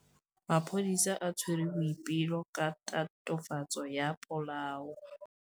Maphodisa a tshwere Boipelo ka tatofatsô ya polaô.